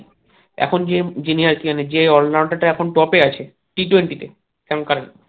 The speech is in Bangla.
এখন যে যিনি আরকি মানে যে all market এ এখন top এ আছে t twenty তে